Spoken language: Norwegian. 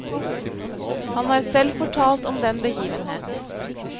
Han har selv fortalt om den begivenhet.